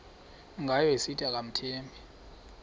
ngayo esithi akamthembi